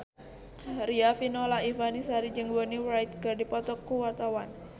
Riafinola Ifani Sari jeung Bonnie Wright keur dipoto ku wartawan